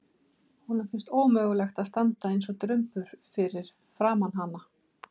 Honum finnst ómögulegt að standa eins og drumbur fyrir framan hana.